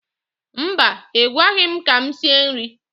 Mba, I gwaghi m ka m sie nri.